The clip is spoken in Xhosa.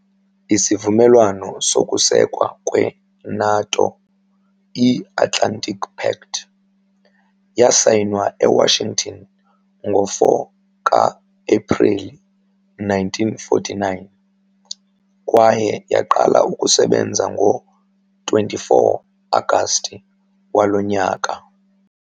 Isivumelwano sokusekwa kwe-NATO, i-Atlantic Pact, yasayinwa eWashington ngo-4 ngo-Ephreli 1949, kwaye yaqala ukusebenza ngo-24 Agasti waloo nyaka.